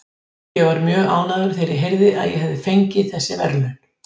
Staða framkvæmdastjóra Skjásins losnar